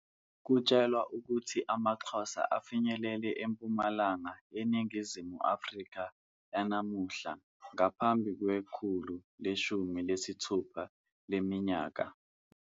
Kutshelwa ukuthi amaXhosa afinyelele eMpumalanga yeNingizimu Afrika yanamuhla ngaphambi kwekhulu leshumi nesithupha leminyaka.